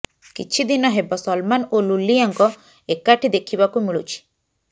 କିଛିଦିନ ହେବ ସଲମାନ୍ ଓ ଲୁଲିଆଙ୍କ ଏକାଠି ଦେଖିବାକୁ ମିଳୁଛି